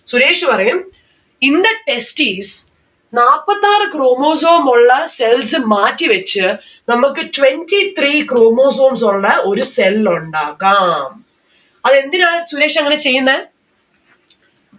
സുരേഷ് പറയും in the testis നാപ്പത്താറ് chromosome ഉള്ള cells മാറ്റിവെച്ച് നമ്മക്ക് twenty three chromosomes ഉള്ള ഒരു cell ഉണ്ടാക്കാം. അതെന്തിനാണ് സുരേഷ് അങ്ങനെ ചെയ്യിന്നെ